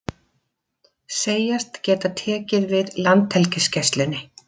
Segjast geta tekið við Landhelgisgæslunni